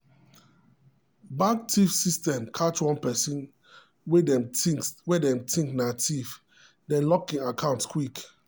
bank theif system catch one person way them dey think na theif dem lock him account quick.